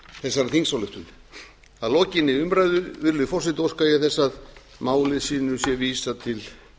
þessari þingsályktun að lokinni umræðu virðulegi forseti óska ég þess að máli þessu sé vísað til